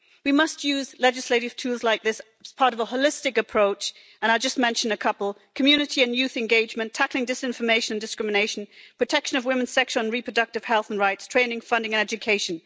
We must use legislative tools like this as part of a holistic approach, and I just mention a couple community and youth engagement, tackling disinformation, discrimination, protection of women's sexual and reproductive health and rights, training, funding and education.